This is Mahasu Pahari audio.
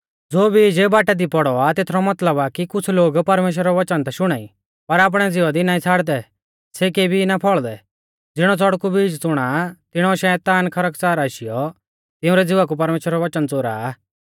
ज़ो बीज बाटा दी पौड़ौ आ तेथरौ मतलब आ कि कुछ़ लोग परमेश्‍वरा रौ वचन ता शुणाई पर आपणै ज़िवा दी ना छ़ाड़दै सै केभी भी ना फौल़दै ज़िणौ च़ड़कु बीज च़ुणा आ तिणौ शैतान खरकच़ार आशीयौ तिंउरै ज़िवा कु परमेश्‍वरा रौ वचन च़ोरा आ